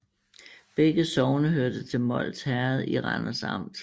Begge sogne hørte til Mols Herred i Randers Amt